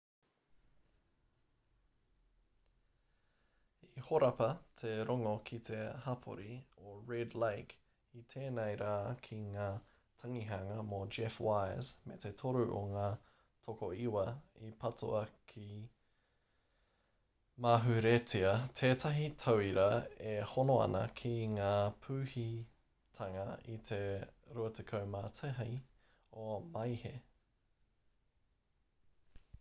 i horapa te rongo ki te hapori o red lake i tēnei rā ki ngā tangihanga mō jeff wise me te toru o ngā tokoiwa i patua i mauheretia tētahi tauira e hono ana ki ngā pūhitanga i te 21 o maehe